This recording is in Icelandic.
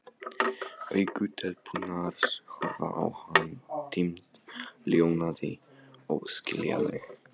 Augu telpunnar horfa á hann, dimm, ljómandi, óskiljanleg.